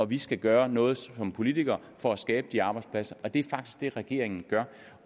vi skal gøre noget som politikere for at skabe de arbejdspladser og det er faktisk det regeringen gør